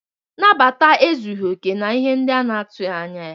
Nabata ezughị okè na ihe ndị a na-atụghị anya ya.